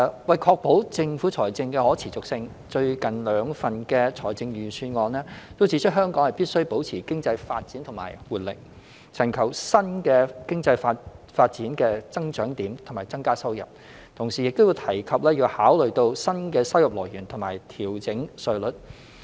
為確保政府財政的可持續性，最近兩份財政預算案均指出，香港必須保持經濟發展與活力，尋求新的經濟發展的增長點以增加收入；同時亦提及要考慮新的收入來源和調整稅率。